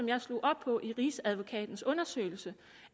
jeg slog op på i rigsadvokatens undersøgelse